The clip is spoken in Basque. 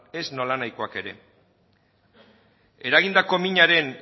ez nolanahikoak ere eragindako minaren